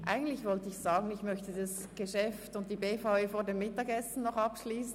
Eigentlich habe ich vorschlagen wollen, dieses Geschäft noch vor der Mittagspause abschliessen.